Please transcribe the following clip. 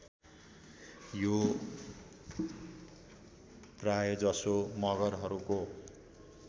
यो प्रायजसो मगरहरूको